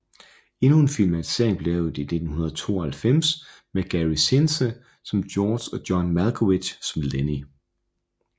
Endnu en filmatisering blev lavet i 1992 med Gary Sinise som George og John Malkovich som Lennie